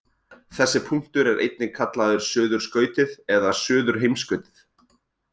Þessi punktur er einnig kallaður suðurskautið eða suðurheimskautið.